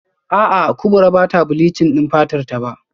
A'a Kubra bata bleaching din fatarta ba